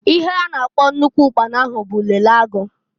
Ihe a na-akpọ nnukwu ụkpana ahu bu lele agu.